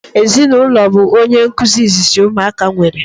Ezinụlọ bu onye nkụzi izizi ụmụaka nwere